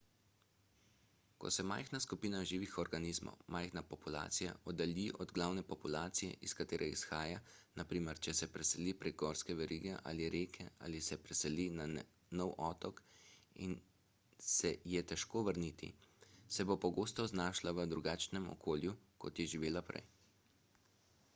ko se majhna skupina živih organizmov majhna populacija oddalji od glavne populacije iz katere izhaja na primer če se preseli prek gorske verige ali reke ali se preseli na nov otok in se je težko vrniti se bo pogosto znašla v drugačnem okolju kot je živela prej